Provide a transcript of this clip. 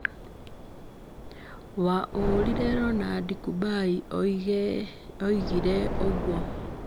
waũũrire Ronald Kũmbai oigire ũguo.